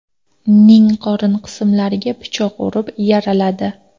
ning qorin qismlariga pichoq urib, yaraladi.